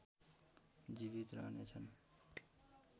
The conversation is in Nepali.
जीवित रहनेछन्